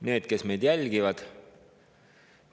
Need, kes meid jälgivad!